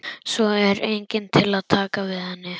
Svo er enginn til að taka við henni.